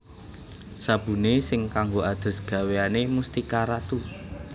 Sabune sing kanggo adus gaweane Mustika Ratu